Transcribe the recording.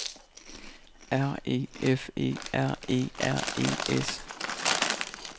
R E F E R E R E S